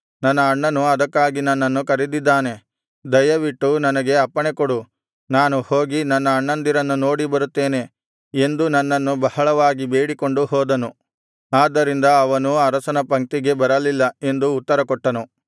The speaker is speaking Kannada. ನನ್ನ ಅಣ್ಣನು ಅದಕ್ಕಾಗಿ ನನ್ನನ್ನು ಕರೆದಿದ್ದಾನೆ ದಯವಿಟ್ಟು ನನಗೆ ಅಪ್ಪಣೆಕೊಡು ನಾನು ಹೋಗಿ ನನ್ನ ಅಣ್ಣಂದಿರನ್ನು ನೋಡಿ ಬರುತ್ತೇನೆ ಎಂದು ನನ್ನನ್ನು ಬಹಳವಾಗಿ ಬೇಡಿಕೊಂಡು ಹೋದನು ಆದ್ದರಿಂದ ಅವನು ಅರಸನ ಪಂಕ್ತಿಗೆ ಬರಲಿಲ್ಲ ಎಂದು ಉತ್ತರಕೊಟ್ಟನು